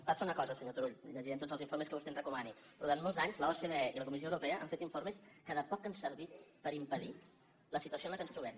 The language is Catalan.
passa una cosa senyor turull i llegirem tots els informes que vostè ens recomani durant molts anys l’ocde i la comis·sió europea han fet informes que de poc han servit per impedir la situació en què ens trobem